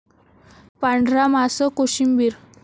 पांढरा मांस कोशिंबीर